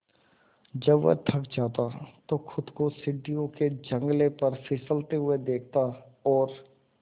जब वह थक जाता तो खुद को सीढ़ियों के जंगले पर फिसलते हुए देखता और